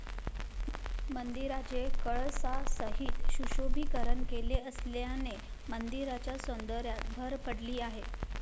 मंदिराचे कळसासहित सुशोभीकरण केले असल्याने मंदिराच्या सौंदर्यात भर पडली आहे.